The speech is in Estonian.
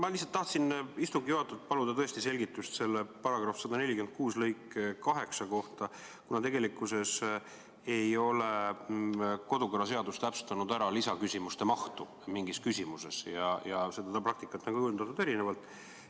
Ma lihtsalt tahaksin istungi juhatajalt paluda selgitust § 146 lõike 8 kohta, kuna tegelikult ei ole kodu- ja töökorra seaduses täpsustatud lisaküsimuste mahtu mingis küsimuses ja sellekohast praktikat on kujundatud erinevalt.